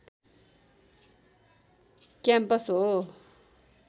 campus हो